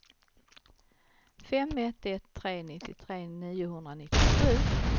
fem ett ett tre nittiotre niohundranittiosju